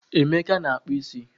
Emeka na-akpụ isi